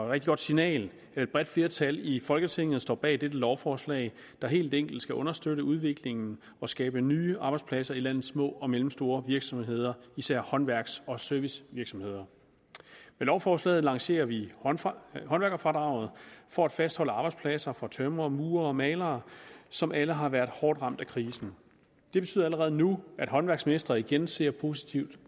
rigtig godt signal at et bredt flertal i folketinget står bag dette lovforslag der helt enkelt skal understøtte udviklingen og skabe nye arbejdspladser i landets små og mellemstore virksomheder især håndværks og servicevirksomheder med lovforslaget lancerer vi håndværkerfradraget for at fastholde arbejdspladser for tømrere murere og malere som alle har været hårdt ramt af krisen det betyder allerede nu at håndværksmestre igen ser positivt